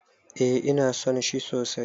Eh ina son shi sosai